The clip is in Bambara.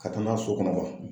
Ka taa n'a ye so kɔnɔ